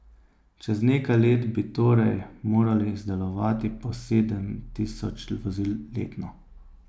Čez nekaj let bi torej morali izdelovati po sedem tisoč vozil letno.